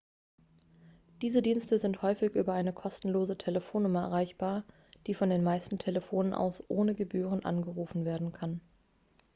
diese dienste sind häufig über eine kostenlose telefonnummer erreichbar die von den meisten telefonen aus ohne gebühren angerufen werden kann